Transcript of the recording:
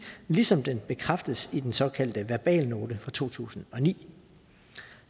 ligesom den bekræftedes i den såkaldte verbalnote fra to tusind og ni